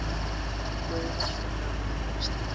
hljóðar svo gamall texti